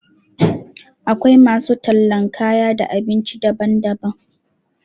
Akwai masu tallan kaya da abinci daban-daban.